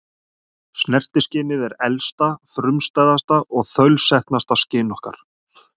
Snertiskynið er elsta, frumstæðasta og þaulsetnasta skyn okkar.